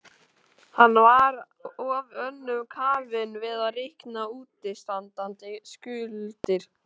Hann var of önnum kafinn við að reikna útistandandi skuldir.